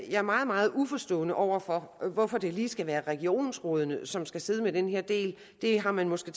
er meget meget uforstående over for hvorfor det lige skal være regionsrådene som skal sidde med den her del det har man måske